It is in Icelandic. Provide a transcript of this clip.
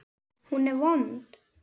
Hún er vond.